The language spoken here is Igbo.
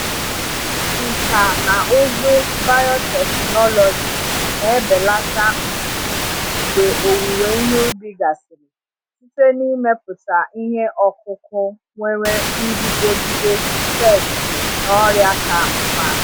Nkà na ụzụ biotechnology na-ebelata mfu mgbe owuwe ihe ubi gasịrị site n’ịmepụta ihe ọkụkụ nwere nguzogide pesti na ọrịa ka mma.